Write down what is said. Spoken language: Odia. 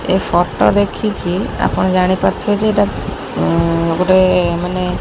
ଏ ଫଟୋ ଦେଖିକି ଆପଣ ଜାଣିପାରୁଥିବେ ଯେ ଏଇଟା ଉ ଗୋଟେ ମାନେ--